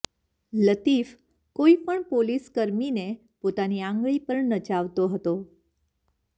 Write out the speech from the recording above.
લતીફ કોઇપણ પોલીસ કર્મીને પોતાની આંગળી પર નચાવતો હતો